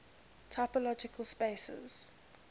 topological spaces